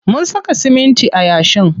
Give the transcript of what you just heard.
Mun saka siminti a yashin.